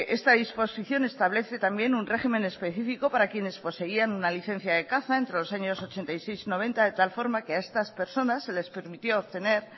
esta disposición establece también un régimen específico para quienes poseían una licencia de caza entre los años ochenta y seis noventa de tal forma que a estas personas se les permitió obtener